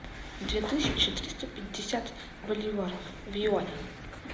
две тысячи триста пятьдесят боливаров в юанях